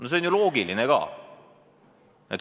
See on ju loogiline ka.